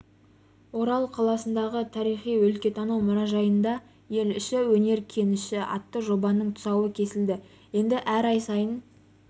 орал қаласындағы тарихи-өлкетану мұражайында ел іші өнер кеніші атты жобаның тұсауы кесілді енді әр ай сайын